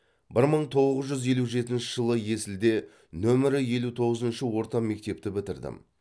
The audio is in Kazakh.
бір мың боғыз жүз елу жетінші жылы есілде нөмірі елу тоғызыншы орта мектепті бітірдім